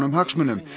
hagsmunum